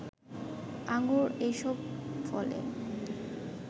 আঙ্গুর এসব ফলে